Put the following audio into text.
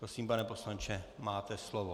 Prosím, pane poslanče, máte slovo.